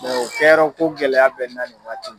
o kɛyɔrɔko gɛlɛya bɛ n na nin waati